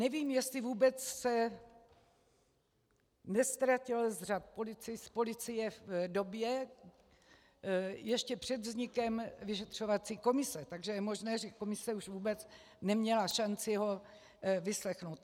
Nevím, jestli vůbec se neztratil z řad policie v době ještě před vznikem vyšetřovací komise, takže je možné, že komise už vůbec neměla šanci ho vyslechnout.